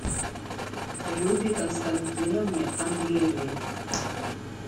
любе константиновне андреевой